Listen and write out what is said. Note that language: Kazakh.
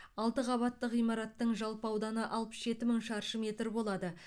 алты қабатты ғимараттың жалпы ауданы алпыс жеті мың шаршы метр болады